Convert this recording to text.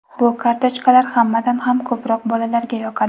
Bu kartochkalar hammadan ham ko‘proq bolalarga yoqadi.